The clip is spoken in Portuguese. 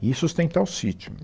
e sustentar o sítio.